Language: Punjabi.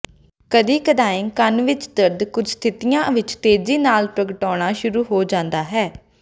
ਕਦੀ ਕਦਾਈਂ ਕੰਨ ਵਿੱਚ ਦਰਦ ਕੁਝ ਸਥਿਤੀਆਂ ਵਿੱਚ ਤੇਜ਼ੀ ਨਾਲ ਪ੍ਰਗਟਾਉਣਾ ਸ਼ੁਰੂ ਹੋ ਜਾਂਦਾ ਹੈ